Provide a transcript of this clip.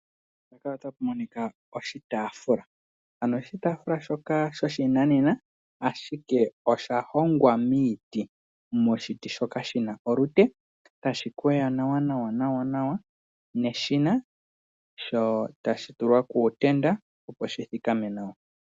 Oshitafula shoka sho shinanena, ashike osha hongwa miiti moshiti shoka shina olute etashi kwewa nawa nawa neshina etashi tulwa kuutenda opo shi thikame nawa.